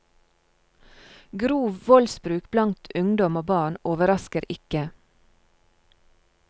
Grov voldsbruk blant ungdom og barn overrasker ikke.